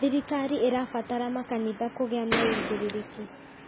Thirikari ĩrabatara makanitha kũgĩa na wũigĩrĩrĩki